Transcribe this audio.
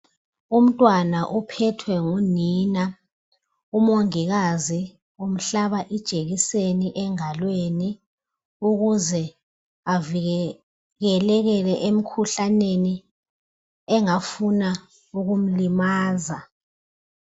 Umntwana uphethwe ngunina. Umongikazi umhlaba ijekiseni engalweni ukuze avikeleke emikhuhlaneni engafuna ukumlimaza.